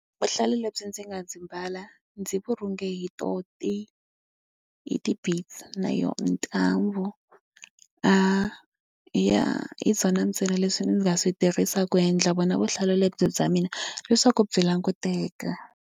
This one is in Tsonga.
Vuhlalu lebyi ndzi nga byi mbala ndzi byi rhunge hi tona ti hi ti-beads na yona ntambhu. Hi ya hi byona ntsena leswi ndzi nga swi tirhisaka ku endla byona vuhlalu lebyi bya mina leswaku byi languteka.